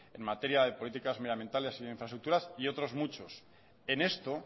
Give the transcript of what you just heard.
en materia de políticas medioambientales y infraestructuras y otros muchos en esto